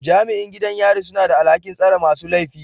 Jami'in gidan yari suna da alhakin tsare masu laifi